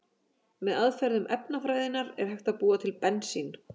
Með aðferðum efnafræðinnar er hægt að búa til bensín.